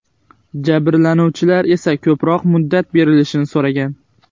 Jabrlanuvchilar esa ko‘proq muddat berilishini so‘ragan.